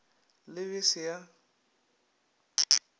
le b e se ya